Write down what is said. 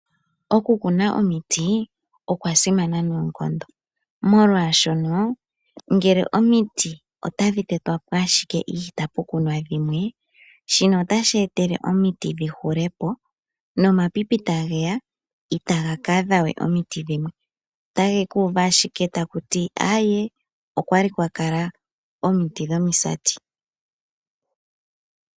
Okukuna omiti okwa simana noonkondo, molwashono ngele omiti otadhi tetwa po ashike itapu kunwa dhimwe, shino otashi eta omiti dhi hule po, nomapipi tage ya itaga ka adha we omiti dhimwe, otage ku uva ashike taku ti: "Aaye, okwali kwa kala omiti dhomisati."